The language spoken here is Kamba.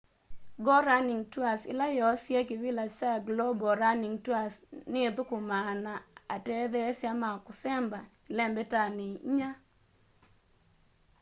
go running tours ila yoosie kivila cha global running tours ni ithũkũmaa na atetheesya ma kũsemba ĩlembetanĩ inya